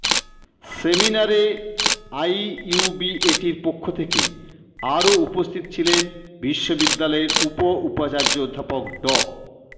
সেমিনারে আইইউবিএটির পক্ষ থেকে আরো উপস্থিত ছিলেন বিশ্ববিদ্যালয়ের উপ উপাচার্য অধ্যাপক ড